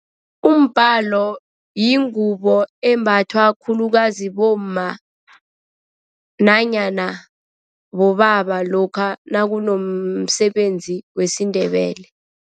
Umbalo yingubo embathwa khulukazi bomma nanyana bobaba lokha nakunomsebenzi wesiNdebele.